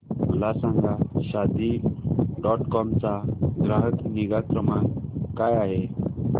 मला सांगा Shaadi dot com चा ग्राहक निगा क्रमांक काय आहे